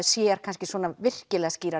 sér svona virkilega skýrar